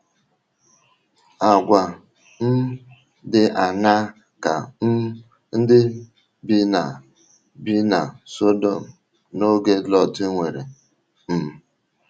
Àgwà um dị aṅaa ka um ndị bi na bi na Sọdọm n’oge Lọt nwere? um